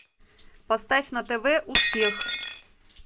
поставь на тв успех